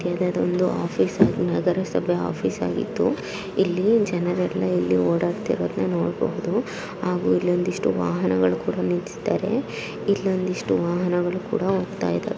ದೊಂದು office ಆಗ್- ನಗರಸಭೆ office ಆಗಿತ್ತು ಇಲ್ಲಿ ಜನರೆಲ್ಲಾ ಇಲ್ಲಿ ಓಡಾಡ್ತಿರೋದ್ನ ನೋಡ್ಬಹುದು ಹಾಗೂ ಇಲ್ಲೊಂದು ಇಷ್ಟು ವಾಹನಗಳು ಕೂಡ ನಿಲ್ಸಿದ್ದಾರೆ ಇಲ್ಲೊಂದು ಇಷ್ಟು ವಾಹನಗಳು ಕೂಡ ಹೋಗ್ತಾ ಇದ--